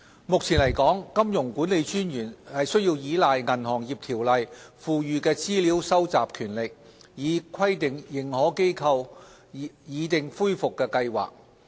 目前來說，金融管理專員須倚賴《銀行業條例》賦予的資料蒐集權力，以規定認可機構擬訂恢復計劃。